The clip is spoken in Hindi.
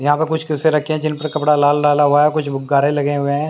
यहां पे कुछ रखे है जिनपे कपड़ा लाल हुआ है कुछ गुब्बारे लगे हुए है।